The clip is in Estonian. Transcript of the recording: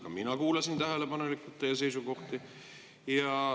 Ka mina kuulasin tähelepanelikult teie seisukohti.